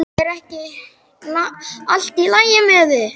Er ekki allt í lagi með þig?